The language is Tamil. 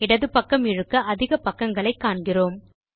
இடது பக்கம் இழுக்க அதிக பக்கங்களை பார்க்கிறோம்